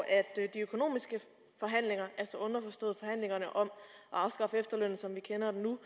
de økonomiske forhandlinger altså underforstået forhandlingerne om at afskaffe efterlønnen som vi kender den nu